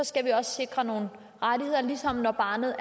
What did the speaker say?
skal vi også sikre nogle rettigheder ligesom når barnet er